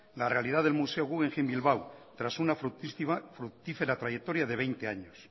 la realidad del museo guggenheim bilbao tras una fructífera trayectoria de veinte años